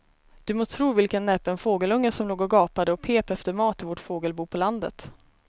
Du må tro vilken näpen fågelunge som låg och gapade och pep efter mat i vårt fågelbo på landet.